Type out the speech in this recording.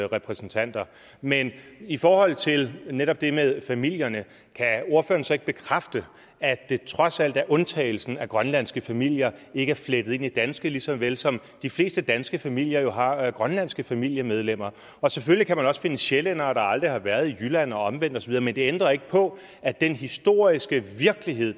repræsentanter men i forhold til netop det med familierne kan ordføreren så ikke bekræfte at det trods alt er undtagelsen at grønlandske familier ikke er flettet ind i danske lige så vel som at de fleste danske familier jo har grønlandske familiemedlemmer og selvfølgelig kan man også finde sjællændere der aldrig har været i jylland og omvendt osv men det ændrer ikke på at den historiske virkelighed